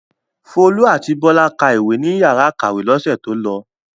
Folú àti Bọ́lá ka ìwé ní ìyàrá-ìkàwé lọ́sẹ̀ tó lọ.